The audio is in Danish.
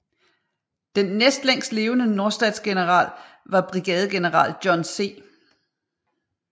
Den næstlængst levende nordstatsgeneral var Brigadegeneral John C